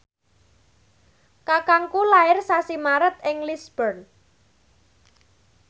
kakangku lair sasi Maret ing Lisburn